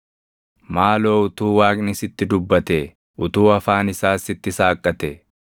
Maaloo utuu Waaqni sitti dubbatee, utuu afaan isaas sitti saaqqatee